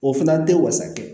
O fana tɛ wasa kɛ